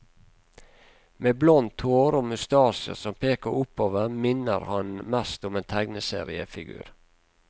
Med blondt hår og mustasjer som peker oppover minner han mest om en tegneseriefigur.